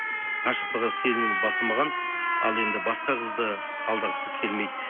ғашықтығы сезімі басылмаған ал енді басқа қызды алдағысы келмейді